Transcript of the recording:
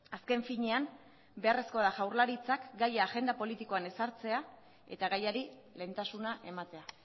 azken finean beharrezkoa da jaurlaritzak gai agenda politikoan ezartzea eta gaiari lehentasuna ematea